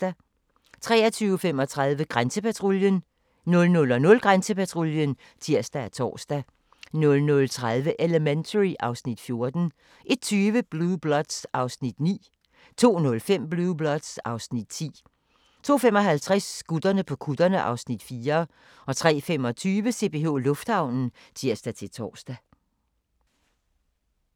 23:35: Grænsepatruljen 00:00: Grænsepatruljen (tir og tor) 00:30: Elementary (Afs. 14) 01:20: Blue Bloods (Afs. 9) 02:05: Blue Bloods (Afs. 10) 02:55: Gutterne på kutterne (Afs. 4) 03:25: CPH Lufthavnen (tir-tor)